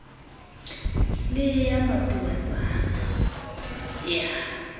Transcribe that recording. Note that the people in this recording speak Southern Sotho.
le eya matubatsana ke a